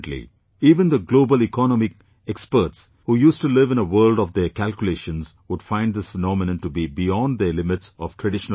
Even the global economic experts who used to live in a world of their calculations would find this phenomenon to be beyond their limits of traditional wisdom